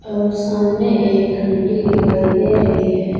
और सामने एक घंटी दिखाई दे रही है।